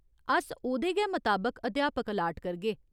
अस ओह्‌दे गै मताबक अध्यापक अलाट करगे।